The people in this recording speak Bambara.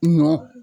Nɔ